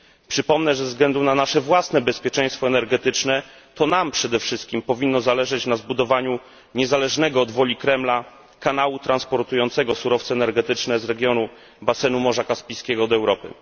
Przypomnę, że ze względu na nasze własne bezpieczeństwo energetyczne, to nam przede wszystkim powinno zależeć na zbudowaniu niezależnego od woli Kremla kanału transportującego surowce energetyczne z regionu basenu Morza Kaspijskiego do Europy.